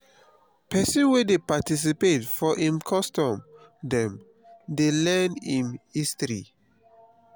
pesin wey dey participate for im custom dem dey learn im history.